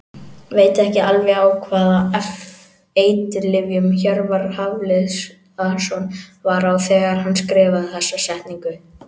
Veit ekki alveg á hvaða eiturlyfjum Hjörvar Hafliðason var á þegar hann skrifaði þessa setningu.